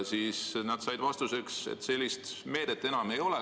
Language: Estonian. Ja nad said vastuseks, et sellist meedet enam ei ole.